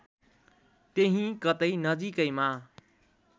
त्यहीँ कतै नजिकैमा